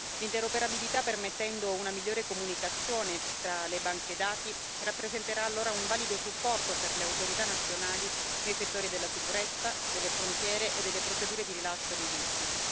L'interoperabilità, permettendo una migliore comunicazione tra le banche dati, rappresenterà allora un valido supporto per le autorità nazionali nei settori della sicurezza, delle frontiere e delle procedure di rilascio dei visti.